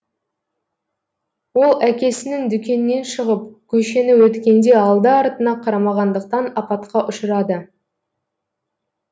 ол әкесінің дүкенінен шығып көшені өткенде алды артына қарамағандықтан апатқа ұшырады